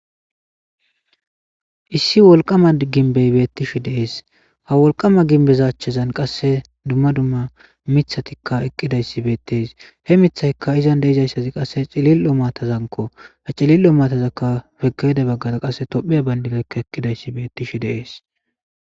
Issi wolqama ginbey beettishi deees ha wolqama ginbezachchazan qasse dumma dumma mithatikka eqqidayssi beettees he mithayka izan deeizaysazi qasse cilil7o matazanko ha cilil7o matazaka fekede baggara qasse topheya bayndinaykka eqqidayssi beettishi deees.